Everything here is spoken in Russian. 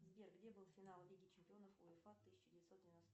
сбер где был финал лиги чемпионов уефа тысяча девятьсот девяносто